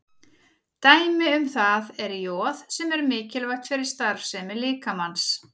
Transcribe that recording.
Dæmi um það er joð sem er mikilvægt fyrir starfsemi líkamans.